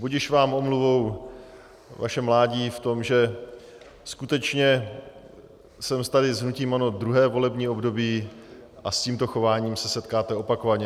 Budiž vám omluvou vaše mládí v tom, že... skutečně jsem tady s hnutím ANO druhé volební období a s tímto chováním se setkáte opakovaně.